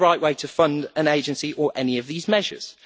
It is not the right way to fund an agency or any of these measures.